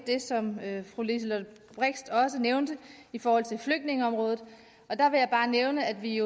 det som fru liselott blixt også nævnte i forhold til flygtningeområdet bare nævne at vi i